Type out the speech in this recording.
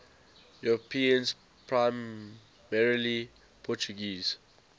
europeans primarily portuguese